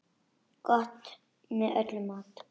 Gott með öllum mat.